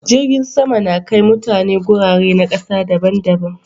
Jirgin sama da Kai mutane gurare na ƙasa daban